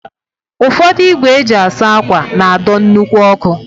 Ụfọdụ ígwè e ji asa ákwà na-adọ nnukwu ọkụ.